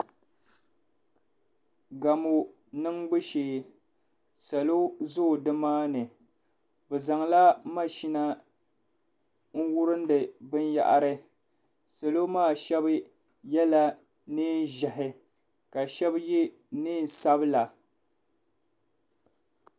Gamu niŋbu shɛɛ Salo zoi ni maa ni bi Zaŋla mahina n wurindi biniyahari salo maa ahɛba yiɛla nɛɛn zɛhi ka shɛbi yiɛ nɛɛn sabila.